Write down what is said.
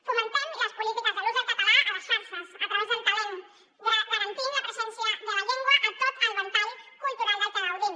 fomentem les polítiques de l’ús del català a les xarxes a través del talent garantint la presència de la llengua a tot el ventall cultural de què gaudim